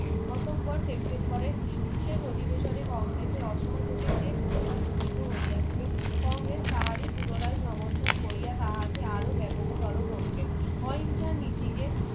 অথবা সেপ্টেম্বরে বিশেষ অধিবেশনে কংগ্রেসের অসহোযোগী যে প্রস্তাব গৃহীত হইয়াছিল কংগ্রেস তাহারি পুনরায় সমর্থন কোরিয়া তাহাকে আরো ব্যাপক তোরো করিলেন অহিংসার নীতিকে